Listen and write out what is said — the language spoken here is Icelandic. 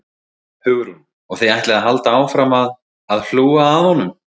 Hugrún: Og þið ætlið að halda áfram að, að hlúa að honum?